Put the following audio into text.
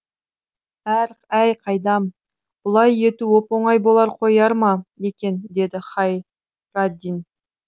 әй қайдам бұлай ету оп оңай бола қояр ма екен деді хайраддин